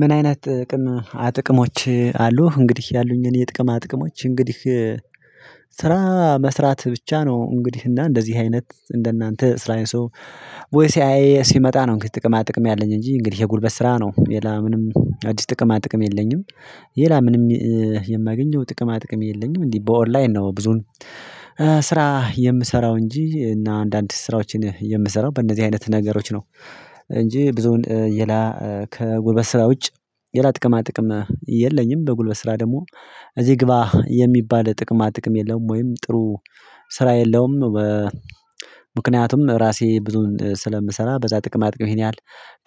ምን አይነት ጥቅም አጥቅሞች አሉ እንግዲህ ያሉኝን የጥቅም አጥቅሞች እንግዲህ ስራ መስራት ብቻ ነው እንግዲህ እና እንደዚህ አይነት እንደናንተ ስራዬ ሰው ወይ ሲያይ ሲመጣ ነው እንግዲህ ጥቅማ ጥቅም ያለኝ እንጂ እንግዲህ ይሄ ጉልበት ስራ ነው ሌላ ምንም አዲስ ጥቅማ ጥቅም የለኝም። ሊላ ምንም የማገኘው ጥቅማ ጥቅም የለኝም። እንዴ በኦንላይን ነው ብዙን ስራ የምሰራው እንጂ እና አንዳንድ ስራዎችን የምሰራው በእነዚህ አይነት ነገሮች ነው። እንጂ ብዙውን ሌላ ከጉልበት ስራ ውጭ ሌላ ጥቅማ ጥቅም የለኝም። በጉልበት ስራ ደግሞ እዚህ ግባ የሚባል ጥቅማ ጥቅም የለም። ወይም ጥሩ ስራ የለውም። ምክንያቱም ራሴ ብዙን ስለምሰራ በዛ ጥቅም አጥቂው ያህል